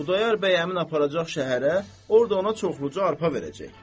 Xudayar bəy həmin aparacaq şəhərə, orda ona çoxluca arpa verəcək.